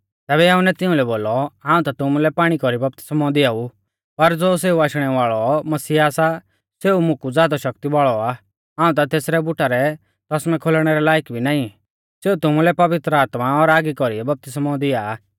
तैबै यहुन्नै तिउंलै बोलौ हाऊं ता तुमुलै पाणी कौरी बपतिस्मौ दिआऊ पर ज़ो सेऊ आशणै वाल़ौ मसीहा सा सेऊ मुकु ज़ादौ शक्ति वाल़ौ आ हाऊं ता तेसरै बुटा रै तौसमै खोलणै रै लायक भी नाईं सेऊ तुमुलै पवित्र आत्मा और आगी कौरीऐ बपतिस्मौ दिआ आ